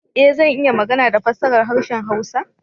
Ee! Zan iya magana da fassara harshen hausa.